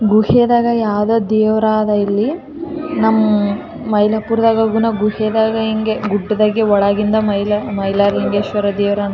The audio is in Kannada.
ನೋಡಾಕ್ ಎಷ್ಟು ಚಲೋ ಅದಾ ಗೊತ್ತಾ ಮೈಲಾರಲಿಂಗೇಶ್ವರ ದೇವಸ್ಥಾನ ನೋಡಕ್ ಬರಿ ಗುಡ್ಡ ಅದು ಒಳಗೆ ದೇವರ ದೇವರಾದ್ದನ .